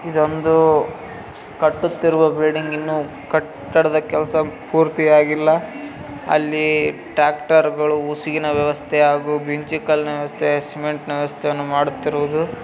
ಇದು ಒಂದು ಕಟ್ಟುತ್ತಿರುವ ಬಿಲ್ಡಿಂಗ್‌ ಇನ್ನೂ ಕಟ್ಟಡದ ಕೆಲಸ ಪೂರ್ತಿ ಆಗಿಲ್ಲ ಅಲ್ಲಿ ಟ್ಯಾಕ್ಟರ್‌ ಗಳು ಹುಸಿನ ವ್ಯವಸ್ಥೆ ಮಿಂಚು ಕಲ್ಲಿನ ವ್ಯವಸ್ಥೆ ಸಿಮೆಂಟ್‌ ವ್ಯವಸ್ಥೆ ಮಾಡುತ್ತಿರುವುದು.